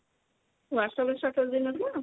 whats-app ରେ status ଦେଇନଥିଲା?